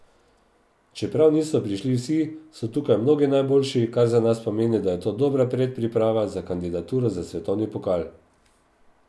Čeprav niso prišli vsi, so tukaj mnogi najboljši, kar za nas pomeni, da je to dobra predpriprava za kandidaturo za svetovni pokal.